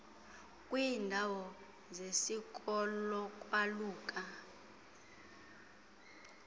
kwiiindawo zesiko lokwaluka